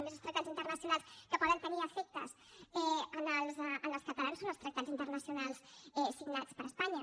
a més els tractats internacionals que poden tenir efectes en els catalans són els tractats internacionals signats per espanya